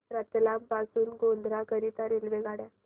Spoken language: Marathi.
रतलाम पासून गोध्रा करीता रेल्वेगाड्या